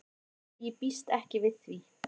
Nei ég býst ekki við því.